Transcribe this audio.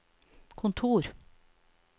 kontor